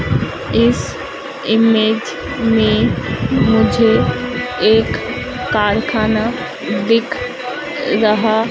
इस इमेज में मुझे एक कारखाना दिख रहा--